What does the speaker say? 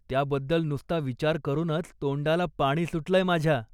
त्याबद्दल नुसता विचार करूनच तोंडाला पाणी सुटलंय माझ्या.